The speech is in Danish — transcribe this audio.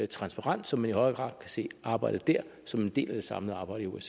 transparent så man i højere grad kan se arbejdet der som en del af det samlede arbejde